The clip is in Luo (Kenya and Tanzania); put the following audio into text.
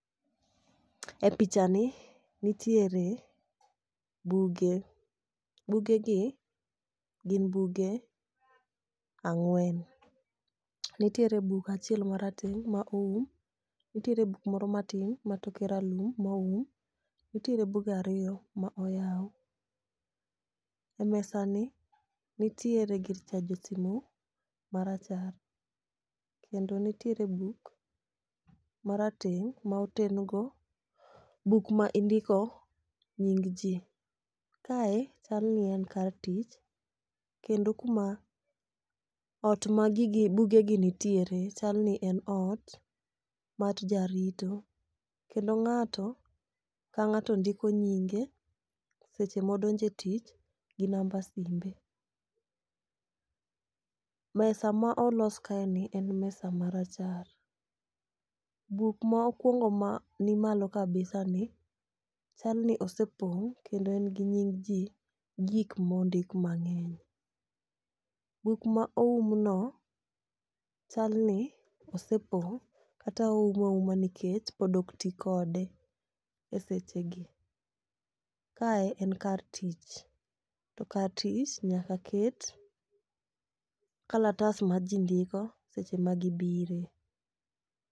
E picha ni, nitiere buge ,bugegi gin buge ang'wen. Nitiere buk achiel marateng' ma oum, nitiere buk moro matin ma toke ralum ma oum. Nitiere buge ariyo ma oyaw,e mesani nitiere gir chajo simu marachar kendo nitiere buk marateng' ma oten go buk ma indiko nying ji. Kae chalni en kar tich, kendo kuma ,ot ma bugegi nitiere chal ni en ot mar jarito, kendo ng'ato ka ng'ato ndiko nyinge seche modonjo e tich gi namba simbe. Mesa ma olos kaeni en mesa marachar. Buk ma okwongo mani malo kabisa ni chal ni osepong' kendo en gi nying ji gi gik mondik mang'eny. Buk ma oumno, chalni osepong' kata oume auma nikech pod ok ti kode,e seche gi. Kae en kar tich, to kar tich nyaka ket kalatas ma ji ndiko seche ma gibire.